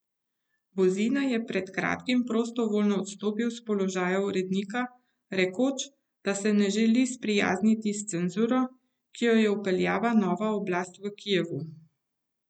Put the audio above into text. Buzina je pred kratkim prostovoljno odstopil s položaja urednika, rekoč, da se ne želi sprijazniti s cenzuro, ki jo je vpeljala nova oblast v Kijevu.